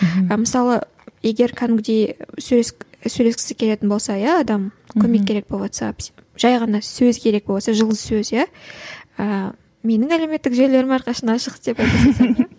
мысалы егер кәдімгідей сөйлескісі келетін болса иә адам көмек керек болыватса жай ғана сөз керек боватса жылы сөз иә ііі менің әлеуметтік желілерім әрқашан ашық деп